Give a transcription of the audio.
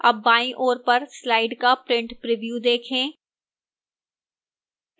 अब बाईं ओर पर slide का print preview देखें